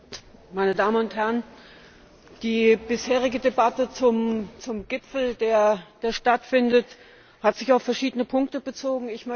Herr Präsident, meine Damen und Herren! Die bisherige Debatte zum Gipfel, der stattfindet, hat sich auf verschiedene Punkte bezogen.